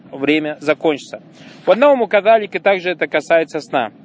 время закончится по-новому кагальнике также это касается сна